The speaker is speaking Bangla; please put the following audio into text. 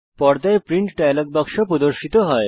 পর্দায় প্রিন্ট ডায়ালগ বাক্স প্রদর্শিত হয়